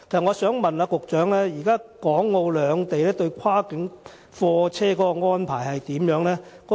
我想問局長，現時港澳兩地對跨境貨車的安排如何？